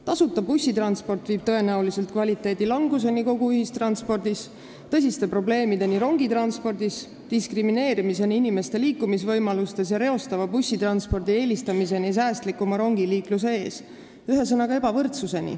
Tasuta bussitransport viib tõenäoliselt kvaliteedi languseni kogu ühistranspordis ning tekitab tõsiseid probleeme rongitranspordis, inimeste diskrimineerimist liikumisvõimaluse alusel ja reostava bussitranspordi eelistamist säästlikumale rongiliiklusele, ühesõnaga, tekitab ebavõrdsust.